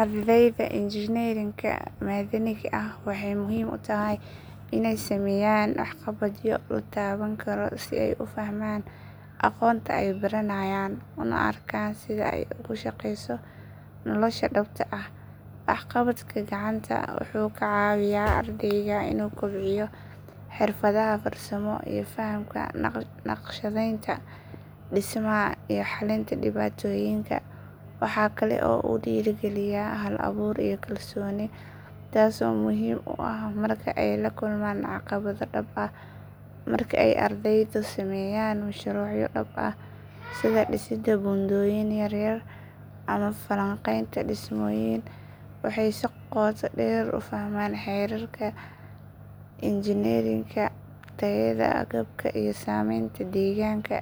Ardayda injineerinka madaniga ah waxay muhiim u tahay inay sameeyaan waxqabadyo la taaban karo si ay u fahmaan aqoonta ay baranayaan una arkaan sida ay ugu shaqeyso nolosha dhabta ah. Waxqabadka gacanta wuxuu ka caawiyaa ardayga inuu kobciyo xirfadaha farsamo iyo fahamka naqshadeynta, dhismaha, iyo xalinta dhibaatooyinka. Waxa kale oo uu dhiirrigeliyaa hal-abuur iyo kalsooni, taasoo muhiim u ah marka ay la kulmaan caqabado dhab ah. Marka ay ardaydu sameeyaan mashruucyo dhab ah sida dhisidda buundooyin yar yar ama falanqaynta dhismooyin waxay si qoto dheer u fahmaan xeerarka injineerinka, tayada agabka, iyo saameynta deegaanka.